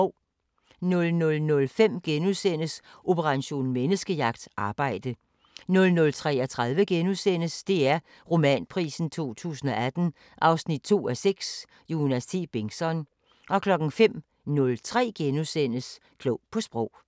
00:05: Operation Menneskejagt: Arbejde * 00:33: DR Romanprisen 2018 2:6 – Jonas T. Bengtsson * 05:03: Klog på Sprog *